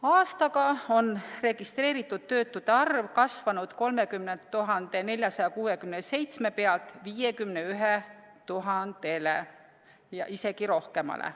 Aastaga on registreeritud töötute arv kasvanud 30 467 pealt 51 000-le ja isegi rohkem.